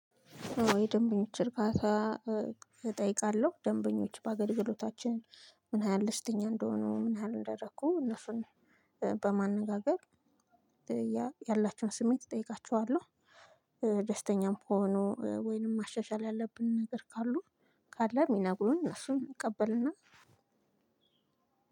የደንበኞችን እርካታ እጠይቃለሁ ደንበኞች በአገልግሎታችን ምን ያሀል ደስተኛ እንደሆነ ምን ይሀል እንደረኩ እነሱን በማነጋገር ያላችሁን ስሜት እጠይቃቸዋለሁ። ደስተኛም ከሆኑ ወይንም ማሻሻል ያለብን ነገር ካሉ ካለ የሚነግሩን እነሱን እቀበልና።